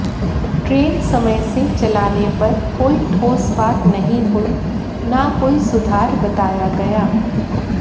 train समय से चलाने पर कोई ठोस बात नहीं हुई ना कोई सुधार बताया गया